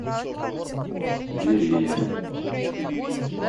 верея